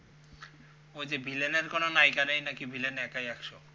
ওই যে villain এর কোনও নায়িকা নাই নাকি villain একাই একশ